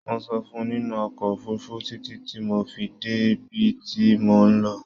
Mo sùn nínú ọkọ̀ òfurufú títí tí mo fi dé bib tí mò ń lọ